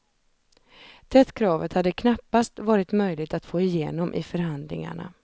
Det kravet hade knappast varit möjligt att få igenom i förhandlingarna.